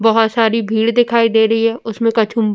बोहोत सारी भीड़ दिखाई दे रही है उसमे --